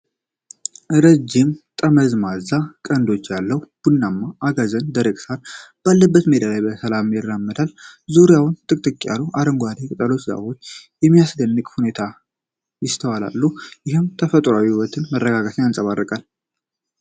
ረጃጅም የተጠማዘዙ ቀንዶች ያለው ቡናማ አጋዘን ደረቅ ሳር ባለበት ሜዳ ላይ በሰላም ይራመዳል። ዙሪያውን ጥቅጥቅ ያሉ አረንጓዴ ቅጠሎችና ዛፎች በሚያስደንቅ ሁኔታ ይስተዋላሉ፤ ይህም የተፈጥሮን ውበትና መረጋጋት ያንፀባርቃል።